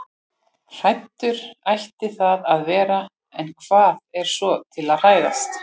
Hræddur ætti það að vera- en hvað er svo til að hræðast?